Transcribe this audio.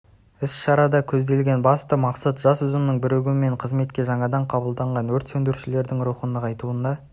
іс-шарада көзделген басты мақсат жас ұжымның бірігуі мен қызметке жаңадан қабылданған өрт сөндірушілердің рухын нығайтуына